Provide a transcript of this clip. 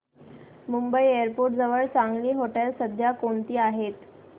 Mumbai airport जवळ चांगली हॉटेलं सध्या कोणती आहेत